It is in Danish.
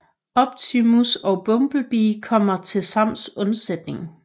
Optimus og Bumblebee kommer til Sams undsætning